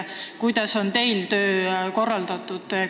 Kuidas on teil töö korraldatud?